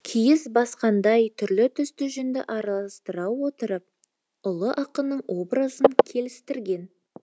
киіз басқандай түрлі түсті жүнді араластыра отырып ұлы ақынның образын келістірген